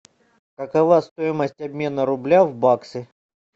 какова стоимость обмена рубля в баксы